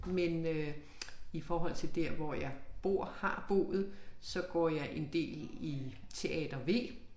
Men øh i forhold til dér hvor jeg bor har boet så går jeg en del i Teater V